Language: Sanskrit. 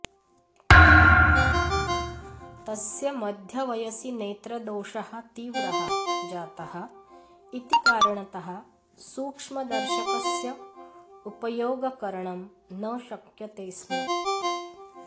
तस्य मध्यवयसि नेत्रदोषः तीव्रः जातः इति कारणतः सूक्ष्मदर्शकस्य उपयोगकरणं न शक्यते स्म